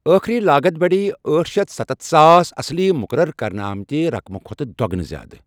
ٲخری لاگت بڑیٛیہِ ٲٹھ شتھ ستستتھ ساس اصلی مُقرر کرنہٕ آمتہِ رقمہٕ کھۄتہٕ دۄگنہٕ زِیادٕ۔